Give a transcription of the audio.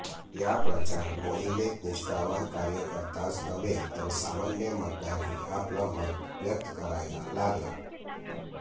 या प्रचार मोहिमेत निष्ठावान कार्यकर्ताच नव्हे तर सामान्य मतदारही आपलं मत व्यक्त करायला लागला